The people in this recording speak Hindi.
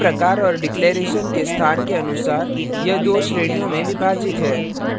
इसके प्रकार और declaration घोषणा के स्थान के अनुसार यह दो श्रेणियों में विभाजित है